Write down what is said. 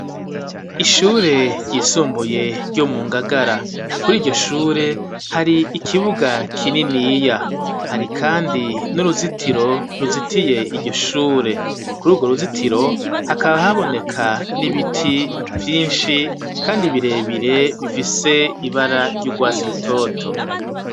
Ishure ryisumbuye ryo mu Ngagara. Kuri iryo shure hari ikibuga kininiya. Hari kandi n'uruzitiro ruzitiye iryo shure. Kuri urwo ruzitiro hakaba haboneka n'ibiti vyinshi kandi birebire bifise ibara ry'urwasi rutoto.